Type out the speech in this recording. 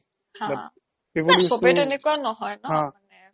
চ্বে তেনেকুৱা নহয় ন মানে